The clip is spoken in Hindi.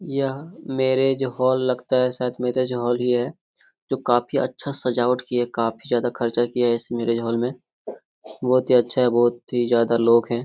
यह मेरिज हाल लगता है शायद मेरिज हाल ही है। जो काफी अच्छा सजावट की है काफी जादा खर्च की है इस मेरिज हाल में बहुत ही अच्छा बहुत ही ज्यादा लोग हैं।